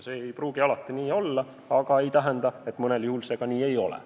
See ei pruugi alati nii olla, aga ei tähenda, et mõnel juhul see just nii on.